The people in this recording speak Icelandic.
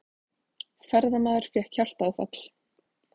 Ferðamaður fékk hjartaáfall